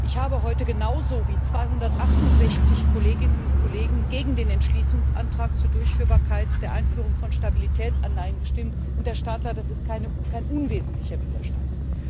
Ich habe heute genauso wie 268 Kolleginnen und Kollegen gegen den Entschließungsantrag zur Durchführbarkeit der Einführung von Stabilitätsanleihen gestimmt, und, Herr Stadler, das ist kein unwesentlicher Widerstand.